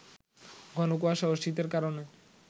ঘনকুয়াশা ও শীতের কারণে